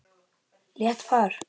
Létt par.